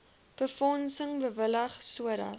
befondsing bewillig sodat